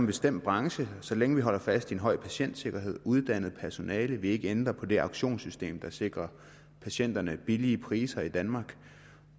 bestemt branche så længe vi holder fast i en høj patientsikkerhed er uddannet personale at vi ikke ændrer på det auktionssystem der sikrer patienterne billige priser i danmark